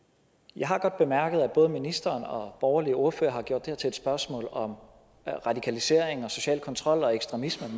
jeg har godt bemærket at både ministeren og borgerlige ordførere har gjort det her til et spørgsmål om radikalisering social kontrol og ekstremisme